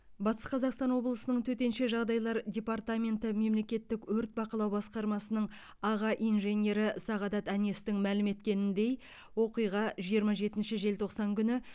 батыс қазақстан облысының төтенше жағдайлар департаменті мемлекеттік өрт бақылау басқармасының аға инженері сағадат әнестің мәлім еткеніндей оқиға жиырма жетінші желтоқсан күні